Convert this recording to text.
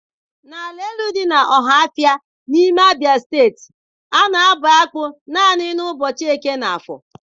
N'ala Elu dị n'Ọhafịa, n'ime Steeti Abịa, a na-abụ akpụ naanị n'ụbọchị Eke na Afọ.